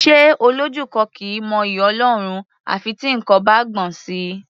Ṣé Olójú kan kì í mọ'yì Ọlọ́run à fi tí nǹkan bá gbọ̀n sí i?